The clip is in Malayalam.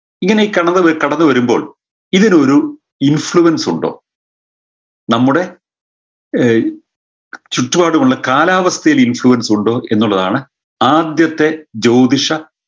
ഇങ്ങനെ കടന്ന് കടന്നു വരുമ്പോൾ ഇതിനൊരു influence ഉണ്ടോ നമ്മുടെ ഏർ ചുറ്റുപാടുമുള്ള കാലാവസ്ഥയിൽ influence ഉണ്ടോ എന്നുള്ളതാണ് ആദ്യത്തെ ജ്യോതിഷ